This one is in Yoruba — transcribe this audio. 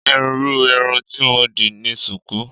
Irú irun tí mo dì ni sùkú.